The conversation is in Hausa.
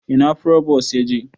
Ina frobos yaje?